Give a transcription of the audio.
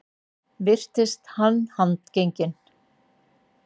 Virtist hann handgenginn